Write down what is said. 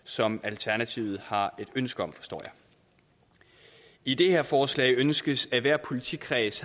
som alternativet har et ønske om forstår jeg i det her forslag ønskes det at hver politikreds